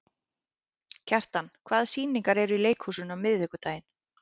Kjartan, hvaða sýningar eru í leikhúsinu á miðvikudaginn?